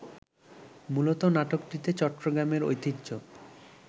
মূলত নাটকটিতে চট্টগ্রামের ঐতিহ্য